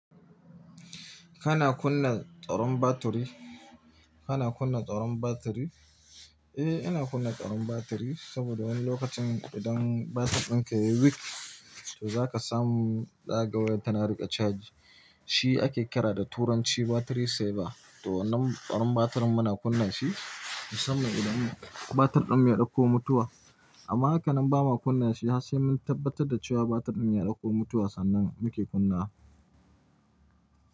Kana kunna tsaron batiri? Kana kunna tsaron batiri? Eh, ina kunna tsaron batiri saboda wani lokacin idan batir ɗin ka ya yi weak, to za ka samu zaka ga wayar tana riƙe chaji. Shi ake kira da turanci battery saver. To nan tsaron batirin muna kunna shi, musamman idan batir ɗin mu ya ɗauko mutuwa. Amma haka nan ba ma kunna shi har sai mun tabbatar da cewa batir ɗin ya ɗauko mutuwa sannan muke kunnawa.